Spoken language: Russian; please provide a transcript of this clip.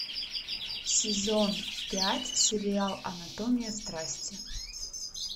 сезон пять сериал анатомия страсти